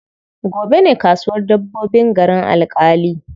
Gobe ne kasuwar dabbobin garin Alƙali.